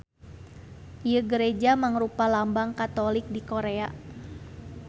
Ieu gareja mangrupa lambang Katolik di Korea.